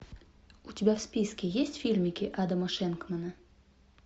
у тебя в списке есть фильмики адама шенкмана